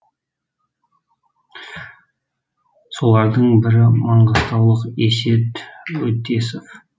солардың бірі маңғыстаулық есет өтесов